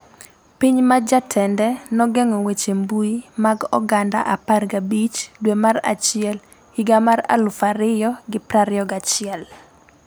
Piny ma jatende nogeng'o weche mbui mag oganda 15 dwe mar achiel higa mar 2021